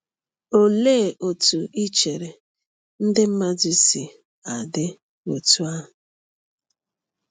Olee otú i chere ndị mmadụ si adị otú ahụ?”